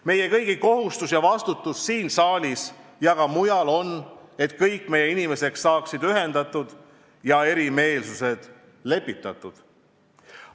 Meie kõigi kohustus ja vastutus siin saalis ja ka mujal on, et kõik meie inimesed saaksid ühendatud ja erimeelsused lepitatud.